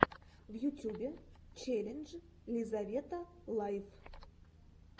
в ютюбе челлендж лизавета лайф